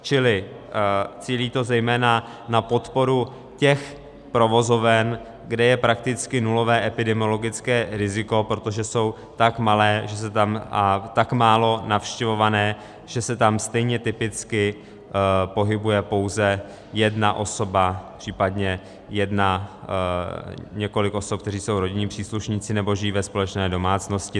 - Čili cílí to zejména na podporu těch provozoven, kde je prakticky nulové epidemiologické riziko, protože jsou tak malé a tak málo navštěvované, že se tam stejně typicky pohybuje pouze jedna osoba, případně několik osob, které jsou rodinní příslušníci nebo žijí ve společné domácnosti.